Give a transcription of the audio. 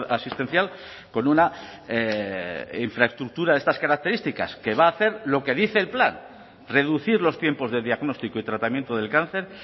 asistencial con una infraestructura de estas características que va a hacer lo que dice el plan reducir los tiempos de diagnóstico y tratamiento del cáncer